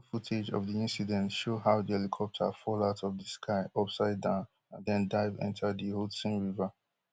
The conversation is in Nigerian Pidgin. video footage of di incident show how di helicopter fall out of di sky upside down and den dive enta di hudson river